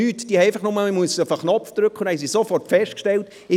Man muss einfach nur den Knopf drücken, und dann haben sie sofort festgestellt ...